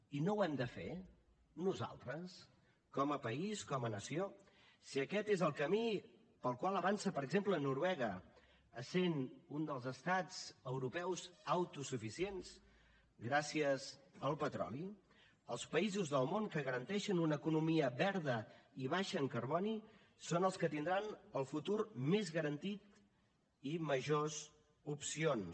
i no ho hem de fer nosaltres com a país com a nació si aquest és el camí pel qual avança per exemple noruega essent un dels estats europeus autosuficients gràcies al petroli els països del món que garanteixen una economia verda i baixa en carboni són els que tindran el futur més garantit i majors opcions